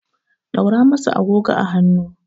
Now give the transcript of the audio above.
ɗaura masa agogo a hannu!